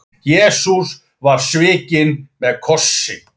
Jesús var svikinn með kossi.